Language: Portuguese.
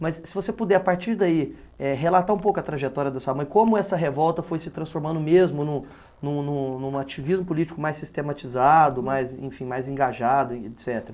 Mas se você puder, a partir daí, eh, relatar um pouco a trajetória dessa mãe, como essa revolta foi se transformando mesmo em um em um em um em um ativismo político mais sistematizado, mais engajado, et cetera.